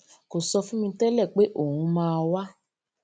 kò sọ fún mi télè pé òun máa wá